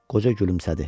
Qoca gülümsədi.